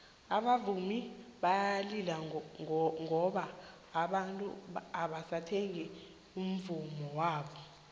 abavumi bayalila ngoba abantu abasathengi umvummo wabo